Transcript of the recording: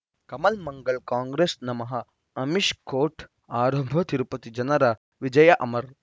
ಕಮಲ್ ಮಂಗಳ್ ಕಾಂಗ್ರೆಸ್ ನಮಃ ಅಮಿಷ್ ಕೋರ್ಟ್ ಆರಂಭ ತಿರುಪತಿ ಜನರ ವಿಜಯ ಅಮರ್